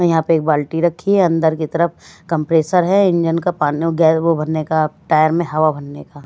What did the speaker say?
यहाँ पे एक बाल्टी रखी है अंदर की तरफ कंप्रेसर है इंजन का पानी गै वो भरने का टायर में हवा भरने का --